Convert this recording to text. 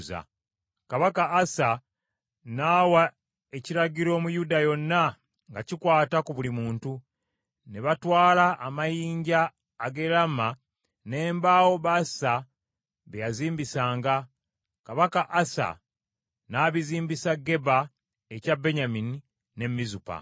Kabaka Asa n’awa ekiragiro mu Yuda yonna nga kikwata ku buli muntu. Ne batwala amayinja ag’e Laama n’embaawo Baasa bye yazimbisanga, kabaka Asa n’abizimbisa Geba ekya Benyamini, ne Mizupa.